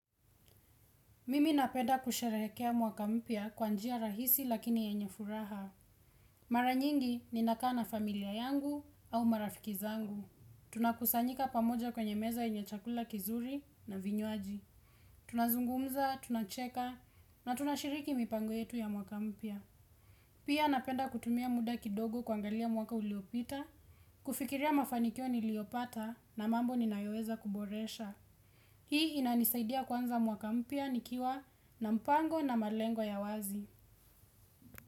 Mimi napenda kusherehekea mwaka mpya kwanjia rahisi lakini yenye furaha. Mara nyingi ninakaa na familia yangu au marafiki zangu. Tunakusanyika pamoja kwenye meza yenye chakula kizuri na vinywaji. Tunazungumza, tunacheka na tunashiriki mipango yetu ya mwaka mpya. Pia napenda kutumia munda kidogo kuangalia mwaka uliopita, kufikiria mafanikio niliopata na mambo ninayoweza kuboresha. Hii inanisaidia kwanza mwakampya nikiwa na mpango na malengo ya wazi.